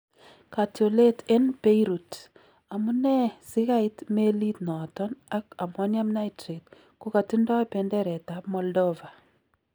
Katyoleet en Beirut : Amunee sikaiit meliit noton ak Amonium Nitrate kokatindo benderet ab Moldova?